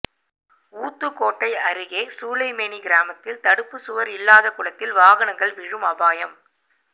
ஊத்துக்கோட்டை அருகே சூளைமேனி கிராமத்தில் தடுப்பு சுவர் இல்லாத குளத்தில் வாகனங்கள் விழும் அபாயம்